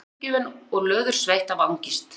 Hún varð fljótt uppgefin og löðursveitt af angist.